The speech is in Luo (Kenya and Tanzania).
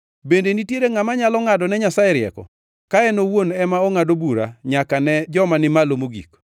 “Bende nitiere ngʼama nyalo ngʼadone Nyasaye rieko, ka en owuon ema ongʼado bura nyaka ne joma ni malo mogik?